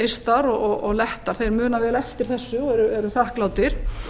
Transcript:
eistar og lettar þeir muna vel eftir þessu og eru þakklátir